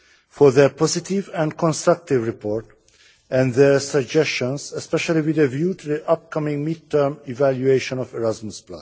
for their positive and constructive report, and their suggestions, especially with a view to the upcoming mid term evaluation of Erasmus.